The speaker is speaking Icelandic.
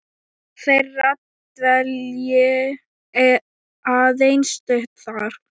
þeirra dvelji aðeins stutt þar.